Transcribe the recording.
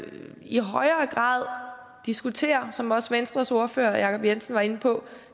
i højere grad diskutere som også venstres ordfører herre jacob jensen var inde på